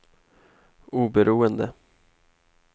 oberoende